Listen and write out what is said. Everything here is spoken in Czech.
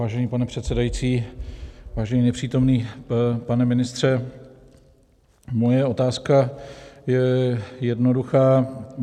Vážený pane předsedající, vážený nepřítomný pane ministře, moje otázka je jednoduchá.